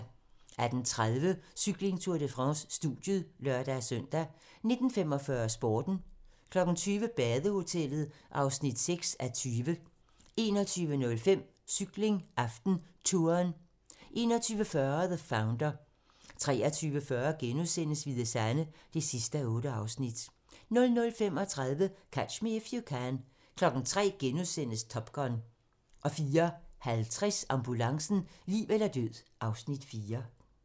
18:30: Cykling: Tour de France - studiet (lør-søn) 19:45: Sporten 20:00: Badehotellet (6:20) 21:05: Cykling: AftenTouren 21:40: The Founder 23:40: Hvide Sande (8:8)* 00:35: Catch Me If You Can 03:00: Top Gun * 04:50: Ambulancen - liv eller død (Afs. 4)